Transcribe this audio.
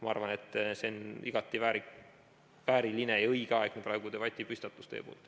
Ma arvan, et see on igati vääriline ja õige aeg selleks teie praeguseks debatipüstituseks.